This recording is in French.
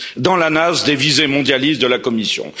dans la nasse des visées mondialistes de la Commission.